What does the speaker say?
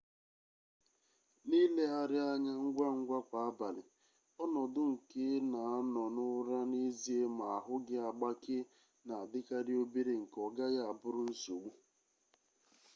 n'ilegharị anya ngwangwa kwa abalị ọnọdụ a nke ị na-anọ n'ụra n'ezie ma ahụ gị agbakee na-adịkarị obere nke ọ gaghị abụrụ nsogbu